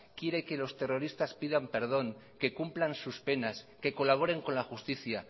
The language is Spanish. quiere que los terroristas pidan perdón que cumplan sus penas que colaboren con la justicia